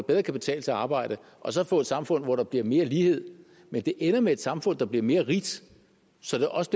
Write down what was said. bedre kan betale sig at arbejde og så få et samfund hvor der bliver mere lighed men det ender med et samfund der bliver mere rigt så det også